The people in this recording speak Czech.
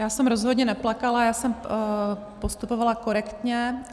Já jsem rozhodně neplakala, já jsem postupovala korektně.